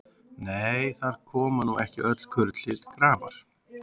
Nei, þar koma nú ekki öll kurl til grafar.